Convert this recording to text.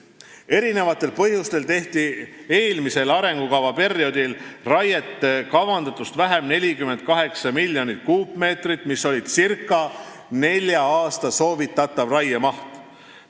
Erinevatel põhjustel tehti eelmisel arengukavaperioodil raiet kavandatust 48 miljonit kuupmeetrit vähem, mis oli circa nelja aasta soovitatav raiemaht.